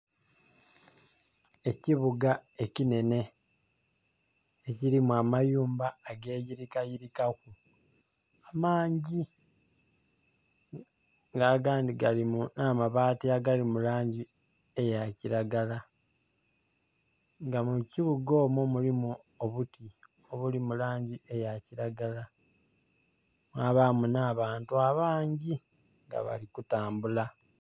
ekibuga ekinhenhe kirimu amayuma ageyirikayirikaku mangi nga agandhi galina amabaati agali mu langi eya kiragala nga mu kibuga omwo mulimu obuti obuli mu langi eya kiragala mwbaamu nh'abantu abangi nga bali kutambula.